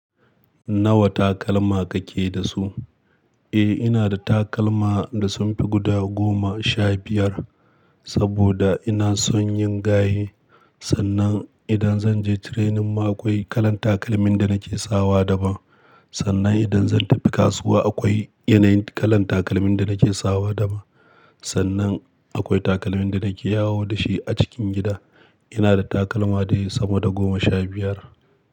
Nawa takalma kake da su? Eh, ina da takalma da sun fi guda goma sha biyar saboda ina son yin gaye. Sannan idan zan je training ma akwai kalan takalmin da nake sawa daban. Sannan idan zan tafi kasuwa akwai yanayin kalan takalmin da nake sawa daban. Sannan akwai takalmin da nake yawo da shi a cikin gida. Ina da takalma da ya samu da goma sha biyar.